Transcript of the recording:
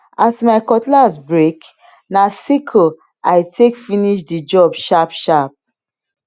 as my cutlass break na sickle i take finish the job sharpsharp